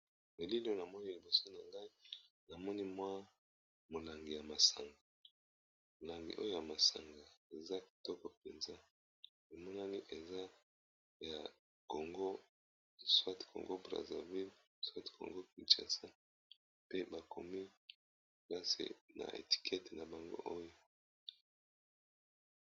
Elili oyo namoni liboso nangai molangi ya masanga eza kitoko penza emonani eza ya Congo Brazzaville pe bakomi ngok' na étiquettes nabango oyo.